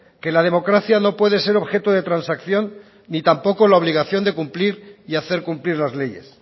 que la democracia no puede ser objeto de transacción ni tampoco la obligación de cumplir y hacer cumplir las leyes